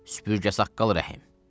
Süpürgəsaqqal Rəhim.